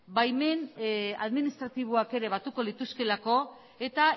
baimen administratiboak ere batuko lituzkeelako eta